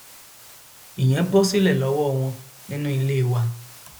ìyẹn bọ sílẹ lọwọ wọn nínú ilé wa